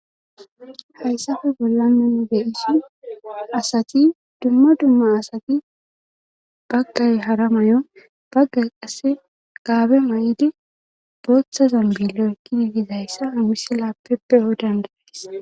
hayssafe bolla mennu deyisi asati dumma dumma asati baggay hara may7o baggay qasse gaabe may7idi booththazan billo ekkidi gizayssa awussi laappeppeo dandatis